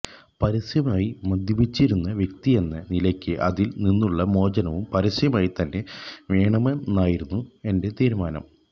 പരസ്യമായി മദ്യപിച്ചിരുന്ന വ്യക്തിയെന്ന നിലയ്ക്ക് അതിൽ നിന്നുള്ള മോചനവും പരസ്യമായി തന്നെ വേണമെന്നായിരുന്നു എന്റെ തീരുമാനം